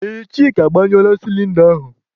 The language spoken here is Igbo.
Ee, Chika agbanyụọla sịlịnda ahụ.